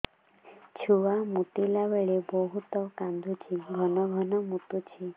ଛୁଆ ମୁତିଲା ବେଳେ ବହୁତ କାନ୍ଦୁଛି ଘନ ଘନ ମୁତୁଛି